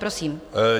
Prosím.